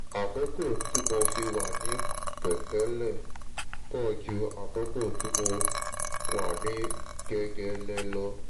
àkókò tí mo fi wà ní pẹ̀tẹ́lẹ̀ pọ̀ ju àkókò tí mo wà ní gegele lọ